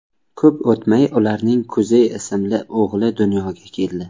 Ko‘p o‘tmay ularning Kuzey ismli o‘g‘li dunyoga keldi.